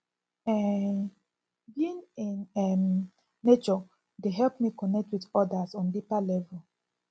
um being in um nature dey help me connect with odas on deeper level